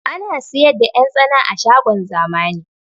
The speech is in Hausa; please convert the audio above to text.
Ana siyar da 'yan tsana a shagon zamani